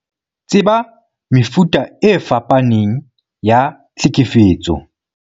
Tseba mefuta e fapaneng ya tlhekefetso